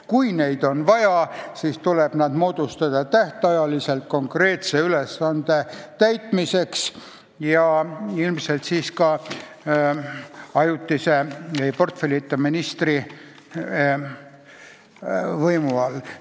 Kui neid on vaja, siis tuleb nad moodustada tähtajaliselt konkreetse ülesande täitmiseks ja ilmselt ajutise, portfellita ministri juhtimise all.